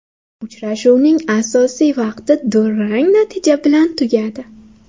Uchrashuvning asosiy vaqti durang natija bilan tugadi.